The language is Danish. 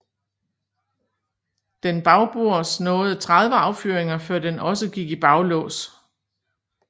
Den bagbords nåede 30 affyringer før den også gik i baglås